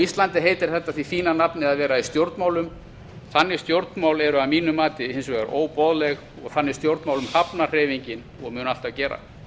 íslandi heitir þetta því fína nafni að vera í stjórnmálum þannig stjórnmál eru að mínu mati hins vegar óboðleg og þannig stjórnmálum hafnar hreyfingin og mun alltaf gera